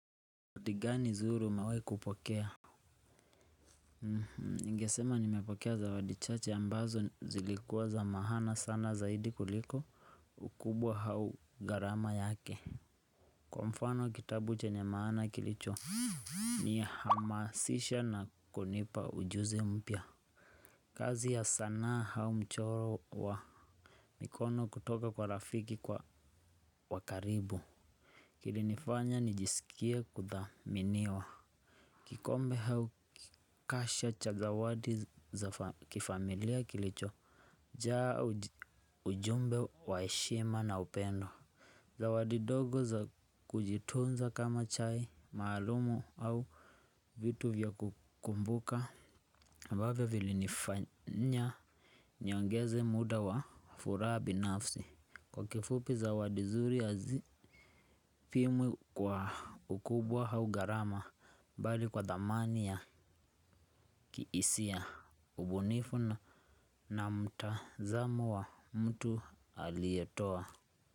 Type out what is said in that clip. Kutigani zuri gani umewai kupokea. Ningesema nimepokea zawadi chache ambazo zilikuwa za maana sana zaidi kuliko ukubwa au gharama yake. Kwa mfano kitabu chenye maana kilichonihamasisha na kunipa ujuzi mpya. Kazi ya sanaa au mchoro wa mikono kutoka kwa rafiki kwa wakaribu. Kilinifanya nijisikie kudhaminiwa. Kikombe au kasha cha zawadi za kifamilia kilichojaa ujumbe wa heshima na upendo. Zawadi dogo za kujitunza kama chai, maalumu au vitu vya kukumbuka. Mbabe vilinifanya niongeze muda wa furaha binafsi. Kwa kifupi zawadi zuri hazipimwi kwa ukubwa au gharama. Mbali kwa dhamani ya kihisia ubunifu na na mtazamu wa mtu aliyetoa.